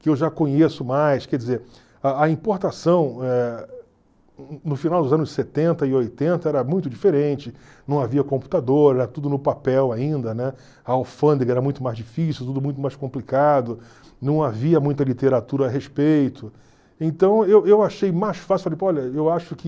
que eu já conheço mais, quer dizer, a a importação eh no final dos anos setenta e oitenta era muito diferente, não havia computador, era tudo no papel ainda, né, a alfândega era muito mais difícil, tudo muito mais complicado, não havia muita literatura a respeito, então eu eu achei mais fácil, falei, olha, eu acho que